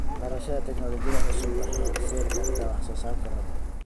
Barashada tignoolajiyada cusub waxay horseedi kartaa wax soo saar koror.